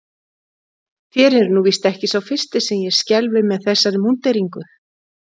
Þér eruð nú víst ekki sá fyrsti sem ég skelfi með þessari múnderingu.